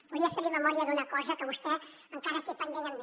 volia fer li memòria d’una cosa que vostè encara té pendent amb mi